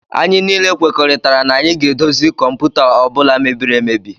Anyị niile kwekoritara na anyị ga edozi kọmputa ọbula mebiri emebi.